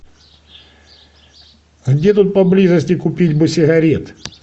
где тут поблизости купить бы сигарет